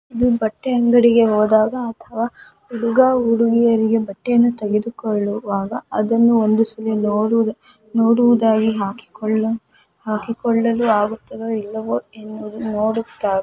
ಈ ಬಟ್ಟೆ ಅಂಗಡಿಗೆ ಹೋದಾಗ ಅಥವಾ ಹುಡುಗ ಹುಡುಗಿಯರಿಗೆ ಬಟ್ಟೆಯನ್ನು ತೆಗೆದು ಕೊಳ್ಳುವಾಗ ಅದನ್ನು ಒಂದು ಸಲಿ ನೋಡುವುದಾಗಿ ಹಾಕಿ ಕೊಳಲ್ಲೂ ಆಗುತದೆ ಇಲ್ಲವೋ ಎಂದು ನೋಡುತ್ತ.